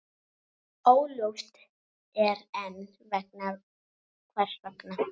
Óljóst er enn hvers vegna.